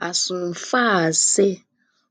as um far as sey